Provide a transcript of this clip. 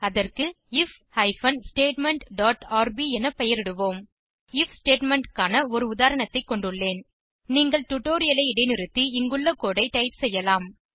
அதற்கு IF hyphen statement dot RB என பெயரிடுவோம் நான் ஐஎஃப் ஸ்டேட்மெண்ட் க்கான ஒரு உதாரணத்தை கொண்டுள்ளேன் நீங்கள் டுடோரியலை இடைநிறுத்தி இங்குள்ள கோடு ஐ டைப் செய்யலாம்